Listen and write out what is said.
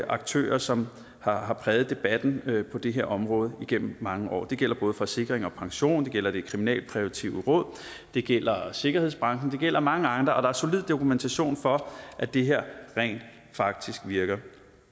aktører som har har præget debatten på det her område igennem mange år det gælder både forsikring pension det gælder det kriminalpræventive råd det gælder sikkerhedsbranchen og det gælder mange andre og der er solid dokumentation for at det her rent faktisk virker